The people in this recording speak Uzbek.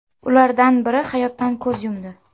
Ulardan biri hayotdan ko‘z yumdi.